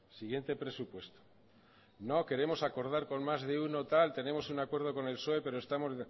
siguiente presupuesto no queremos acordar con más de uno tal tenemos un acuerdo con el psoe pero estamos